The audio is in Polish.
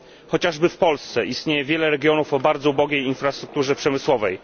Również w Polsce istnieje wiele regionów o bardzo ubogiej infrastrukturze przemysłowej.